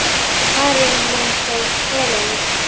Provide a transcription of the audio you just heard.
Maren Lind og Helena.